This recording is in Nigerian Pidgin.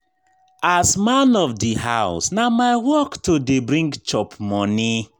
As man of di house, na my work to dey bring chop moni.